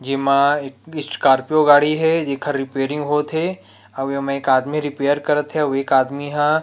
जे मा ये स्कार्पियो गाड़ी हे जे खा रिपेयरिंग होत थे अउ एमा एक आदमी रिपेयर कर थे उ एक आदमी ह।